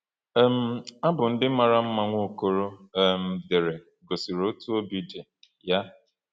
um Abụ ndị mara mma Nwaokolo um dere gosiri otú obi dị ya.